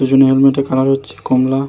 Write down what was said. পেছনে এমন একটি কালার হচ্ছে কমলা ।